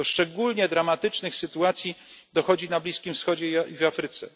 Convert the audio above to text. Do szczególnie dramatycznych sytuacji dochodzi na Bliskim Wschodzie i w Afryce.